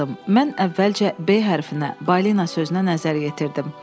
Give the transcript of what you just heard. Mən əvvəlcə "B" hərfinə, "balina" sözünə nəzər yetirdim.